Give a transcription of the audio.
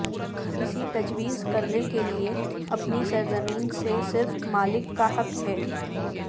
کسی تجویز کرنے کے لئے اپنی سرزمین سے صرف مالک کا حق ہے